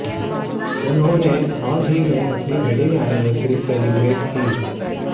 उन्होंने हाल ही में अपनी वेडिंग एनिवर्सरी सेलिब्रेट की